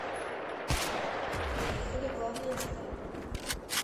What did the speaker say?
поехали главная деталь